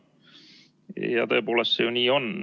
Ja tõepoolest see ju nii on.